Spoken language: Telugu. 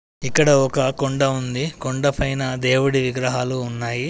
ఇక్కడ ఒక కొండ ఉంది కొండ పైన దేవుడి విగ్రహాలు ఉన్నాయి.